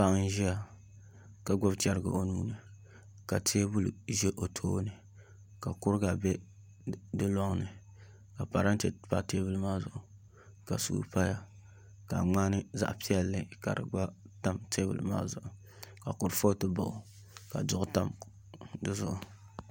Paɣa n ʒiya ka gbubi chɛrigi o nuuni ka teebuli ʒɛ o tooni ka kuriga bɛ di loŋni ka parantɛ pa teebuli maa zuɣu ka suu paya ka ŋmani zaɣ piɛlli ka di gba tam teebuli maa zuɣu kurifooti baɣa o ka duɣu tam dizuɣu